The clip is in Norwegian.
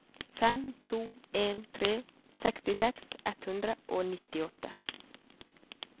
fem to en tre sekstiseks ett hundre og nittiåtte